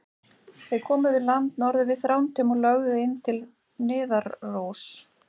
Þeir komu við land norður við Þrándheim og lögðu inn til Niðaróss.